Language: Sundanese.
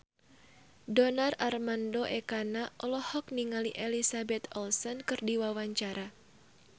Donar Armando Ekana olohok ningali Elizabeth Olsen keur diwawancara